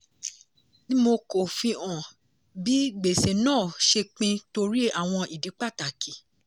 dmo kò fi hàn bí gbèsè náà ṣe pin torí àwọn ìdí pàtàkì.